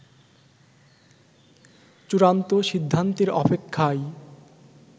চূড়ান্ত সিদ্ধান্তের অপেক্ষায়